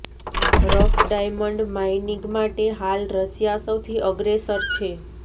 rough diamond mining માટે હાલ Russia સૌથી અગ્રેસર છે